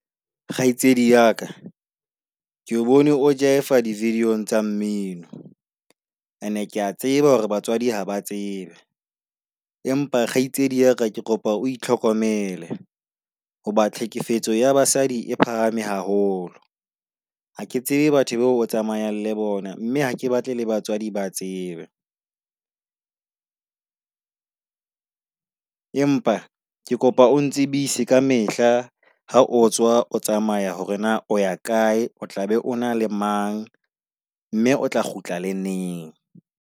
Kgaitsedi ya ka, ke bone o jaefa di-video tsa mmino and kea tseba hore batswadi ha ba tsebe. Empa kgaitsedi ya ka ke kopa o itlhokomele. Hoba tlhekefetso ya basadi e phahame haholo. Ha ke tsebe batho bao tsamayang le bona mme hake batle le batswadi ba tsebe. Empa, ke kopa o ntsebise ka mehla ha o tswa o tsamaya hore na o ya kae, o tla be o na le mang, mme o tla kgutla le neng.